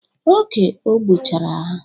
Oge o gbuchara ha.